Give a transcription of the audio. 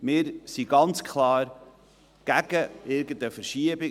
Wir sind ganz klar gegen irgendeine Verschiebung.